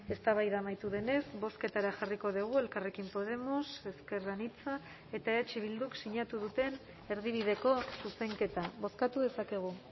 eztabaida amaitu denez bozketara jarriko dugu elkarrekin podemos ezker anitza eta eh bilduk sinatu duten erdibideko zuzenketa bozkatu dezakegu